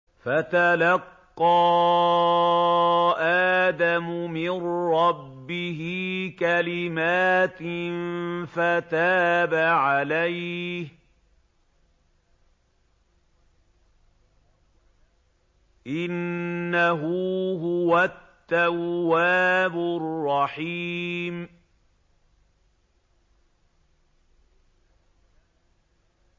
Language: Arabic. فَتَلَقَّىٰ آدَمُ مِن رَّبِّهِ كَلِمَاتٍ فَتَابَ عَلَيْهِ ۚ إِنَّهُ هُوَ التَّوَّابُ الرَّحِيمُ